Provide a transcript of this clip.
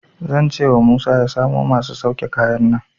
Zan cewa Musa ya samo masu sauke kayan nan.